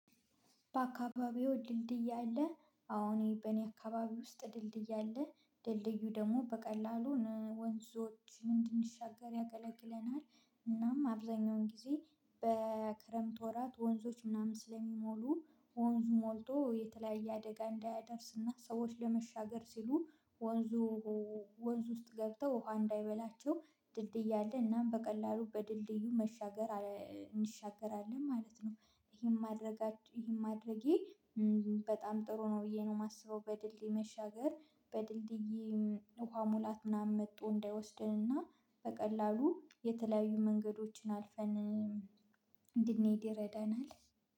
"በአካባቢዎ ድልድይ አለ?" አሁን በእኔ አካባቢ ውስጥ ድልድይ አለ። ድልድዩ ደግሞ በቀላሉ ወንዞችን እንድንሻገር ያገለግለናል። እናም አብዛኛውን ጊዜ በክረምት ወራት ወንዞች ምናምን ስለሚሞሉ፤ ወንዙ ሞልቶ የተለያየ አደጋ እንዳያደርስና ሰዎች ለመሻገር ሲሉ ወንዙ ወንዙ ውስጥ ገብተው ውሃ እንዳይበላቸው ድልድይ አለ እናም በቀላሉ በድልድዩ መሻገር እንሻገራለን ማለት ነው። ይሄን ማድረጋ ይሄን ማድረጌ በጣም ጥሩ ነው ብዬ ነው የማስበው። በድልድይ መሻገር በድልድይ ውሃ ሙላት ምናምን መጥቶ እንዳይወስደንና በቀላሉ የተለያዩ መንገዶችን አልፈን እንድንሄድ ይረዳናል።